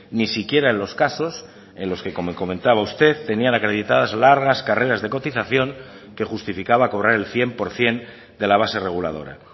ni siquiera en los casos en los que como comentaba usted tenían acreditadas largas carreras de cotización que justificaba cobrar el cien por ciento de la base reguladora